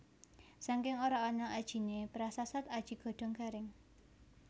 Saking ora ana ajiné prasasat aji godhong garing